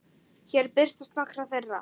Hér birtast nokkrar þeirra.